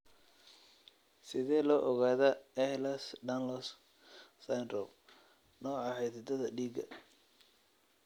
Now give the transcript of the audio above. Sidee loo ogaadaa Ehlers Danlos syndrome, nooca xididdada dhiigga?